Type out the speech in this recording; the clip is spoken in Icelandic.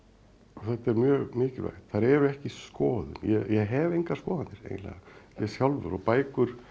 þetta er mjög mikilvægt þær eru ekki skoðun ég hef engar skoðanir eiginlega ég sjálfur og bækur